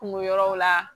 Kungo yɔrɔw la